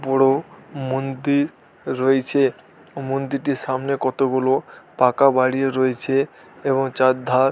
বড়ো মন্দির রইছে ও মন্দিরটির সামনে কতগুলো পাকা বাড়িও রয়েছে এবং চারধার --